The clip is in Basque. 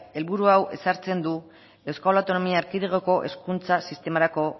helburu hau ezartzen du euskal autonomia erkidegoko hezkuntza sistemarako